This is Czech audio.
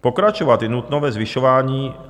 Pokračovat je nutno ve zvyšování...